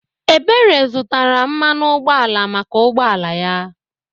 Ebere zụtara mmanụ ụgbọala maka ụgbọala ya.